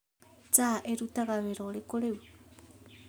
tar ĩrutaga wĩra kũ rĩu?